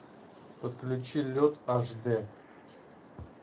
подключи лед аш дэ